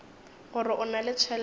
gore o na le tšhelete